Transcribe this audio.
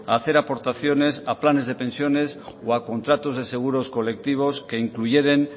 a hacer aportaciones a planes de pensiones o a contratos de seguros colectivos que incluyeren